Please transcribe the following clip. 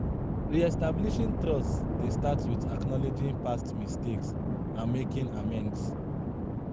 Re-establishing trust dey start with acknowledging past mistakes and making amends.